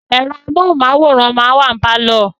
Ẹ̀rọ amóhunmáwòrán máa ń wà ní pálọ̀